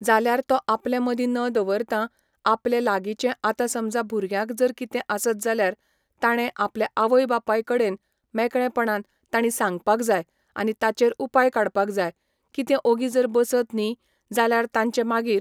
जाल्यार तो आपल्या मदीं न दवरता आपले लागीचे आतां समजा भुरग्याक जर कितें आसत जाल्यार ताणें आपल्या आवय बापाय कडेन मेकळेपणान ताणी सांगपाक जाय आनी ताचेर उपाय काडपाक जाय कितें ओगी जर बसत न्ही जाल्यार ताजें मागीर